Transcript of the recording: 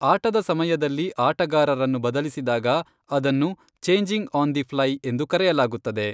ಆಟದ ಸಮಯದಲ್ಲಿ ಆಟಗಾರರನ್ನು ಬದಲಿಸಿದಾಗ, ಅದನ್ನು ಚೇಂಜಿಂಗ್ ಆನ್ ದಿ ಫ್ಲೈ ಎಂದು ಕರೆಯಲಾಗುತ್ತದೆ.